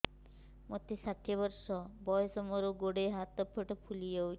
ମୋତେ ଷାଠିଏ ବର୍ଷ ବୟସ ମୋର ଗୋଡୋ ହାତ ପେଟ ଫୁଲି ଯାଉଛି